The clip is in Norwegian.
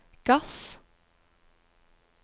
gass